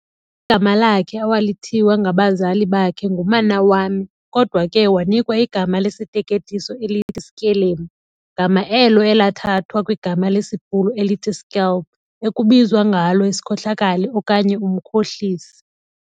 Igama lakhe awalithiywa ngabazali bakhe nguManawami, kodwa ke wanikwa igama lesiteketiso elithi Skelemu, gama elo elathathwa kwigama lesiBhulu elithi "skelm", ekubizwa ngalo isikhohlakali okanye umkhohlisi.